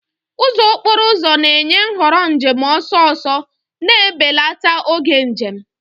Ụzọ okporo ụzọ na-enye nhọrọ njem ọsọ ọsọ, na-ebelata oge njem.